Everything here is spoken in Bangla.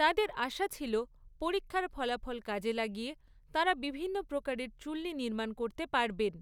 তাঁদের আশা ছিল, পরীক্ষার ফলাফল কাজে লাগিয়ে তাঁরা বিভিন্ন প্রকারের চুল্লি নির্মাণ করতে পারবেন।